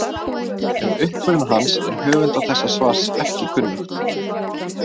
Um uppruna hans er höfundi þessa svars ekki kunnugt.